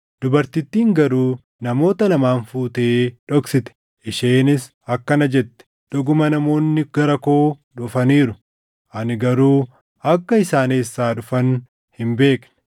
Dubartittiin garuu namoota lamaan fuutee dhoksite. Isheenis akkana jette; “Dhuguma namoonni gara koo dhufaniiru; ani garuu akka isaan eessaa dhufan hin beekne.